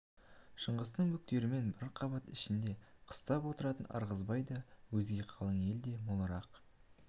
шыңғыстың бөктерімен бір қабат ішінде қыстап отыратын ырғызбай да өзге қалың ел де молырақ